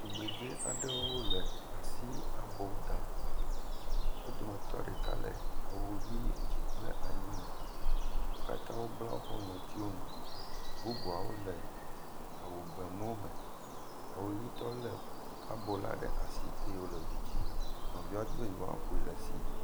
Tugbedze aɖewo le asi abo dam, wo dometɔ ɖeka le awu hi edzi kple anyi me, wo katã wobla woƒe ŋɔtiwo nu, bubuawo le awu gbe mu me. Awu ʋi tɔ lé abo la ɖe asi eye wòle du dzi nɔviawo di be yewoaƒoe le esi.